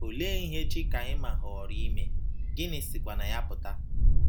Olee ihe chikaima họọrọ ime, gịnị sikwa na ya pụta